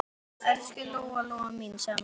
Elsku Lóa-Lóa mín, sagði mamma.